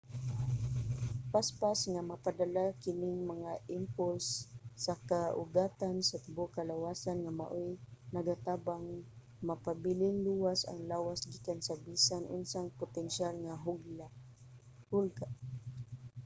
paspas nga mapadala kining mga impulse sa kaugatan sa tibuok kalawasan nga maoy nagatabang mapabiling luwas ang lawas gikan sa bisan unsang potensyal nga hulga